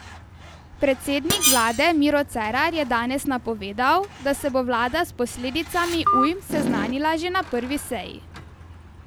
Predsednik vlade Miro Cerar je danes napovedal, da se bo vlada s posledicami ujm seznanila že na prvi seji.